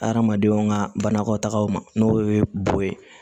Adamadenw ka banakɔtagaw ma n'o ye bo ye